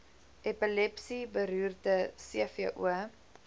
epilepsie beroerte cvo